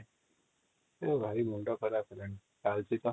ଭାଇ ମୁଣ୍ଡ ଖରାପ ହେଲାଣି |